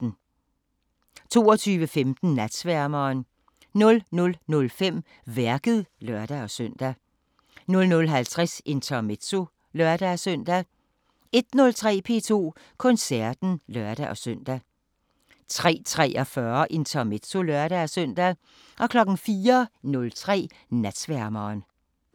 22:15: Natsværmeren 00:05: Værket (lør-søn) 00:50: Intermezzo (lør-søn) 01:03: P2 Koncerten (lør-søn) 03:43: Intermezzo (lør-søn) 04:03: Natsværmeren